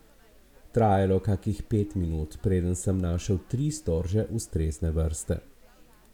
Trajalo je kakih pet minut, preden sem našel tri storže ustrezne vrste.